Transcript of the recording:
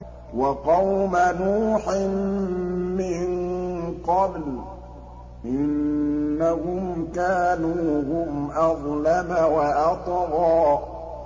وَقَوْمَ نُوحٍ مِّن قَبْلُ ۖ إِنَّهُمْ كَانُوا هُمْ أَظْلَمَ وَأَطْغَىٰ